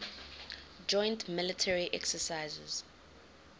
joint military exercises